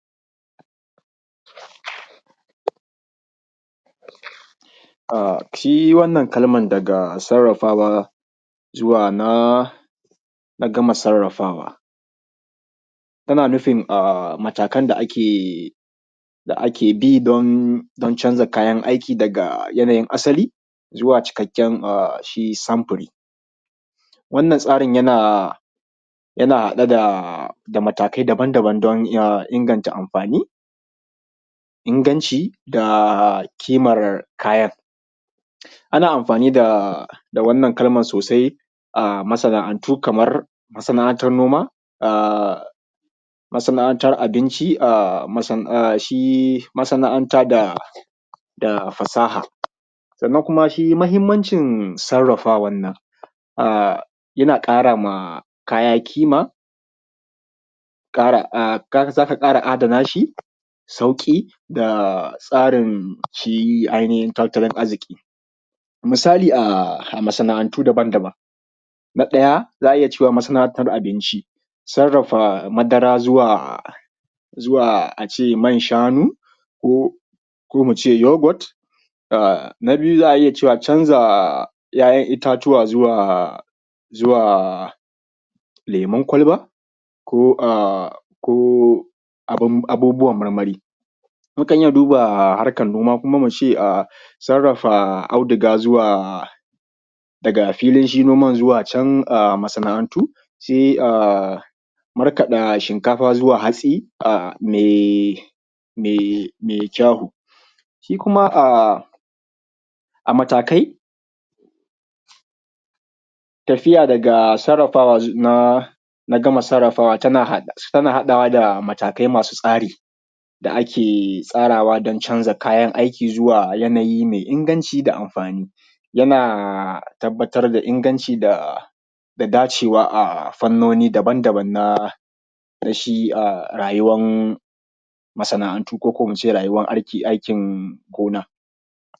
Shi wannan kalma daga sarrafawa zuwa na gama sarrafawa, ana nufin matakan da ake bi don canza kayan aiki daga yanayin asali, zuwa cikakken a shi samfuri. Wannan tsari yana daga da matakai daban daban don ya inganta amfani, inganci da kimar kayan. Ana amfani da wannan kalman sosai a masana'antu kamar masana'antar noma, masana'antar abinci, shi masana'anta da fasaha. Sannan kuma shi mahimmanci sarrafa wannan a yana ƙara ma kaya kima, ka ga za ka ƙara adana shi sauki, da tsarin ainihin shi tattalin arziki. Misali a masana'antu daban daban. Na ɗaya za a iya cewa masana'anta abinci, sarrafa madara zuwa a ce man shanu, ko mu ce yoghurt, na biyu za a iya cewa canza 'yayan itatuwa zuwa lemun kwalba, ko abubuwan marmari. Mukan iya duba harkan noma, kuma muce a sarrafa audiga zuwa daga filin noman zuwa can masana'antu sai a markaɗa shinkafa zuwa hatsi a mai kyau. Shi kuma a matakai tafiya daga sarrafawa na gama sarrafawa tana haɗawa daga matakai masu tsari da ake tsarawa don canza kayan aiki zuwa yanayi mai inganci, da amfani. Yana tabbatar da inganci da dacewa a fannoni daban daban na shi rayuwan masana'antu ko kuma muce rayuwan aikin gona.